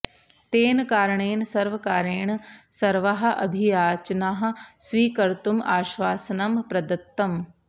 तेन कारणेन सर्वकारेण सर्वाः अभियाचनाः स्वीकर्तुम् आश्वासनं प्रदत्तम्